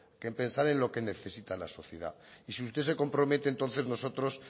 que en pensar en lo que necesita la sociedad y si usted se compromete entonces nosotros